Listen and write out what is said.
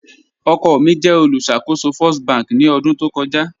Ọkọ mi jẹ olùṣakòsò First bankì ni ọdun tó kọja